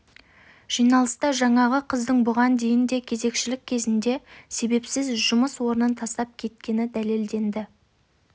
жиналыста жаңағы қыздың бұған дейін де кезекшілік кезінде себепсіз жұмыс орнын тастап кеткені дәлелденді